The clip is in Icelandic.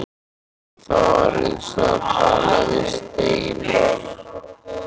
En það var eins og að tala við steininn.